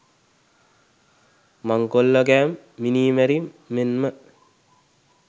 මංකොල්ලකෑම් මිනීමැරීම් මෙන්ම